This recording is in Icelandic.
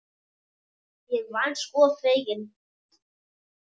Ég var sko fegin!